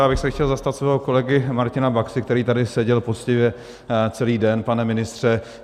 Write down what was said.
Já bych se chtěl zastat svého kolegy Martina Baxy, který tady seděl poctivě celý den, pane ministře.